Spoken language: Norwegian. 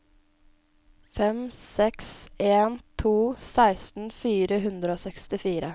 fem seks en to seksten fire hundre og sekstifire